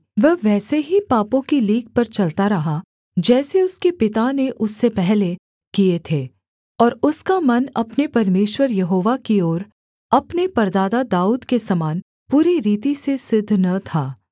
वह वैसे ही पापों की लीक पर चलता रहा जैसे उसके पिता ने उससे पहले किए थे और उसका मन अपने परमेश्वर यहोवा की ओर अपने परदादा दाऊद के समान पूरी रीति से सिद्ध न था